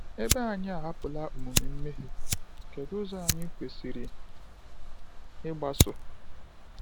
Ebe anyị ahapụla omume mmehie, kedu ụzọ anyị kwesịrị ịgbaso?